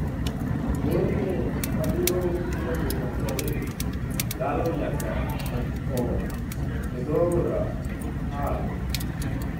Borne madirom kilomita 30, kalo nyaka e dho Aora Pearl.